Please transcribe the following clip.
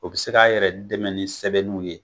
O bi se k'a yɛrɛ dɛmɛ ni sɛbɛnnu ye